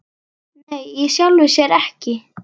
Nei í sjálfu sér ekki.